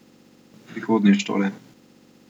Prihodnjič torej.